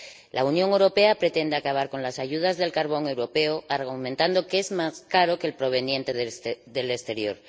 La Unión Europea pretende acabar con las ayudas del carbón europeo, argumentando que es más caro que el proveniente del exterior.